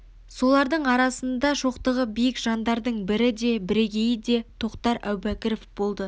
солардың арасында шоқтығы биік жандардың бірі де бірегейі де тоқтар әубәкіров болды